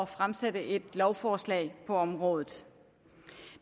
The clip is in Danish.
fremsætte et lovforslag på området